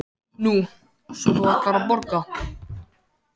Nú, svo þú ætlar að borga?